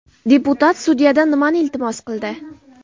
Deputat sudyadan nimani iltimos qildi?